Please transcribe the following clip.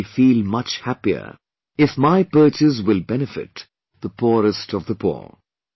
I will feel much happier if my purchase will benefit the poorest of the poor